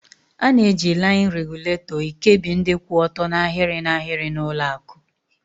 A na-eji laịn regulatọ ekebi ndị kwụ ọtọ n'ahịrị n'ahịrị n'ụlọakụ.